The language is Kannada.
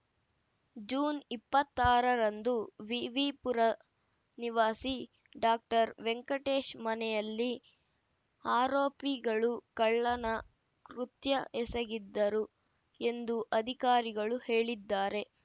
ಜೂನ್ ಇಪ್ಪತ್ತಾ ರರಂದು ವಿವಿ ಪುರ ನಿವಾಸಿ ಡಾಕ್ಟರ್ ವೆಂಕಟೇಶ್‌ ಮನೆಯಲ್ಲಿ ಆರೋಪಿಗಳು ಕಳ್ಳನ ಕೃತ್ಯ ಎಸಗಿದ್ದರು ಎಂದು ಅಧಿಕಾರಿಗಳು ಹೇಳಿದ್ದಾರೆ